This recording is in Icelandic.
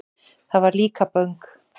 Það var Líkaböng.